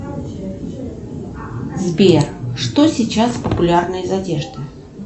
сбер что сейчас популярно из одежды